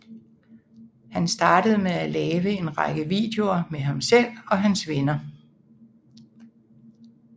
Han startede med at lave en række videoer med ham selv og hans venner